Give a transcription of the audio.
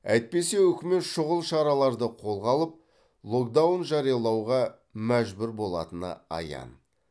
әйтпесе үкімет шұғыл шараларды қолға алып локдаун жариялауға мәжбүр болатыны аян